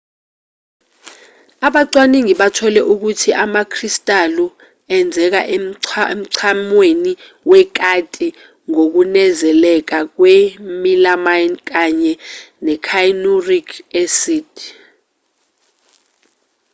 abacwaningi bathole ukuthi amakristalu enzeka emchamweni wekati ngokunezeleka kwe-milamine kanye ne-cyanuric acid